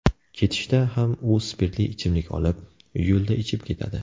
Ketishda ham u spirtli ichimlik olib, yo‘lda ichib ketadi.